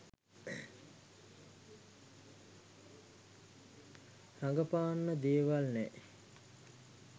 රඟපාන්න දේවල් නෑ